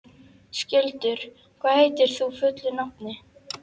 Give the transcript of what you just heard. Skjöldur, hvað heitir þú fullu nafni?